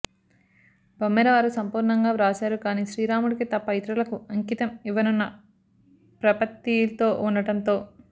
బమ్మెరవారు సంపూర్ణంగా వ్రాసారు కాని శ్రీరాముడికి తప్ప ఇతరులకు అంకితం ఇవ్వనన్న ప్రపత్తితో ఉండటంతో